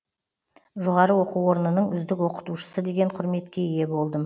жоғары оқу орнының үздік оқытушысы деген құрметке ие болдым